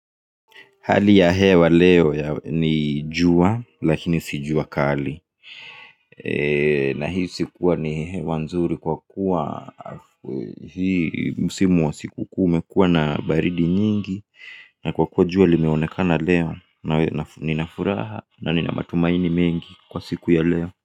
Hali ya hewa leo ni jua lakini si jua kali. Na hii sikuwa ni hewa nzuri kwa kuwa hii msimu wa sikukuu imekuwa na baridi nyingi. Na kwa kuwa jua limeonekana leo. Na ninafuraha na nina matumaini mengi kwa siku ya leo.